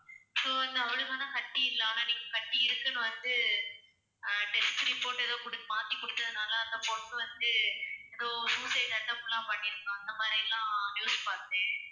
so வந்து அவளுக்கு ஆனா கட்டி இல்ல ஆனா நீங்க கட்டி இருக்குன்னு வந்து அஹ் test report குடு~ மாத்தி குடுத்ததனால அந்த பொண்ணு வந்து ஏதோ suicide attempt லாம் பண்ணி இருந்தா அந்த மாதிரியெல்லாம் news பார்த்தேன்